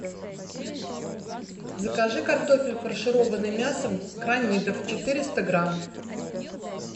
закажи картофель фаршированный мясом кранидов четыреста грамм